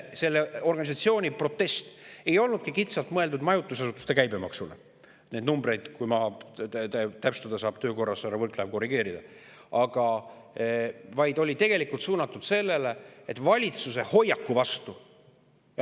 Ja selle organisatsiooni protest ei olnud mõeldud kitsalt majutusasutuste käibemaksu – neid numbreid saab töö käigus täpsustada, korrigeerida härra Võrklaev –, vaid oli suunatud valitsuse hoiaku vastu.